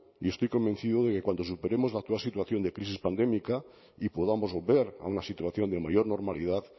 y estoy convencido de que cuando superemos la actual situación de crisis pandémica y podamos volver a una situación de mayor normalidad